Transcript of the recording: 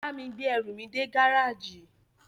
Bá mi gbé ẹrù mi dé gáràjì.